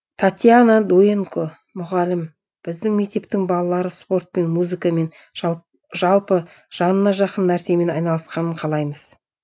татьяна дуенко мұғалім біздің мектептің балалары спортпен музыкамен жалпы жанына жақын нәрсемен айналысқанын қалаймыз